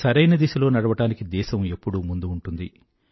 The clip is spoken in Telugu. సరైన దిశలో నడవటానికి దేశం ఎప్పుడూ ముందే ఉంటుంది